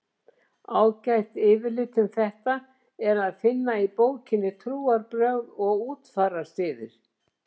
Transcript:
Ágætt yfirlit um þetta er að finna í bókinni Trúarbrögð og útfararsiðir.